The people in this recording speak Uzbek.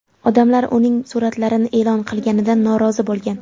Odamlar uning suratlarni e’lon qilganidan norozi bo‘lgan.